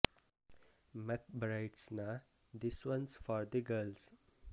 ಮಕ್ brides ನ this one's for the girls